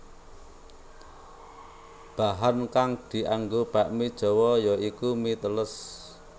Bahan kang dianggo bakmi Jawa ya iku mi teles